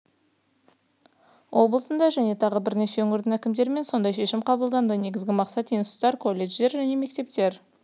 облысында және тағы бірнеше өңірде әкімдермен сондай шешім қабылданды негізгі мақсат институттар колледждер мен мектептер